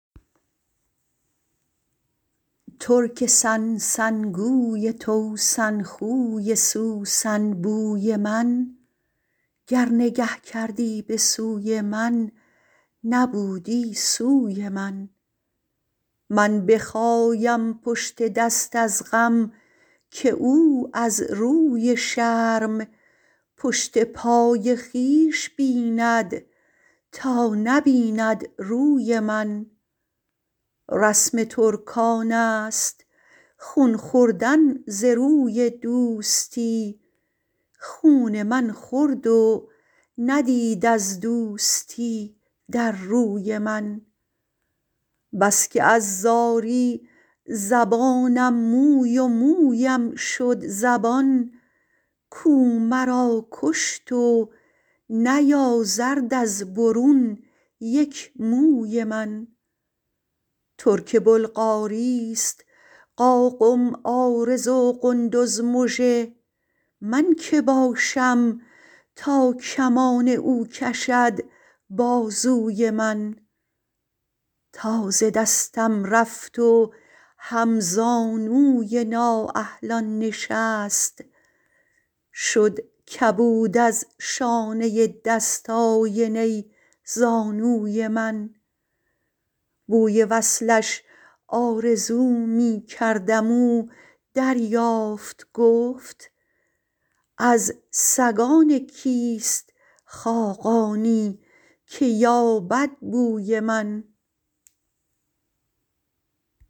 ترک سن سن گوی توسن خوی سوسن بوی من گر نگه کردی به سوی من نبودی سوی من من بخایم پشت دست از غم که او از روی شرم پشت پای خویش بیند تا نبیند روی من رسم ترکان است خون خوردن ز روی دوستی خون من خورد و ندید از دوستی در روی من بس که از زاری زبانم موی و مویم شد زبان کو مرا کشت و نیازرد از برون یک موی من ترک بلغاری است قاقم عارض و قندز مژه من که باشم تا کمان او کشد بازوی من تا ز دستم رفت و هم زانوی نااهلان نشست شد کبود از شانه دست آینه زانوی من بوی وصلش آرزو می کردم او دریافت گفت از سگان کیست خاقانی که یابد بوی من